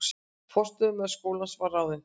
Forstöðumaður skólans var ráðinn